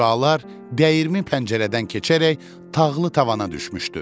Şüalar dəyirmi pəncərədən keçərək tağlı tavana düşmüşdü.